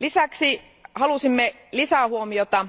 Lisäksi halusimme kiinnittää lisähuomiota